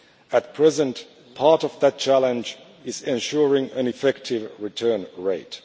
At present, part of that challenge is ensuring an effective return rate.